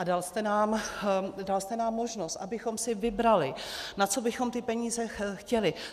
A dal jste nám možnost, abychom si vybrali, na co bychom ty peníze chtěli.